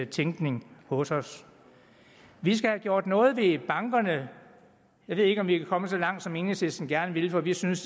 tænkning hos os vi skal have gjort noget ved bankerne jeg ved ikke om vi kan komme så langt som enhedslisten gerne vil for vi synes